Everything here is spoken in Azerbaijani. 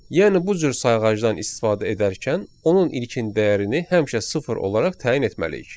Yəni bu cür sayğacdan istifadə edərkən onun ilkin dəyərini həmişə sıfır olaraq təyin etməliyik.